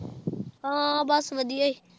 ਹਾਂ ਬਸ ਵਧੀਆ ਸੀ